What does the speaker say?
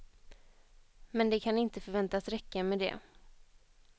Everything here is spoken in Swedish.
Men det kan inte förväntas räcka med det.